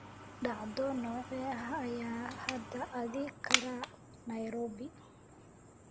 dhacdo noocee ah ayaan hadda aadi karaa nairobi